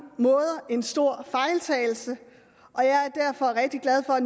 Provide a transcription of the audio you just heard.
måder en stor fejltagelse og jeg er derfor rigtig glad for at